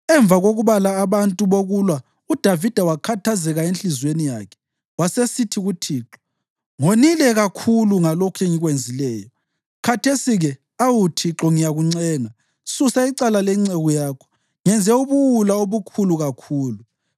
Emva kokubala abantu bokulwa uDavida wakhathazeka enhliziyweni yakhe, wasesithi kuThixo, “Ngonile kakhulu ngalokhu engikwenzileyo. Khathesi-ke, awu Thixo, ngiyakuncenga, susa icala lenceku yakho. Ngenze ubuwula obukhulu kakhulu.”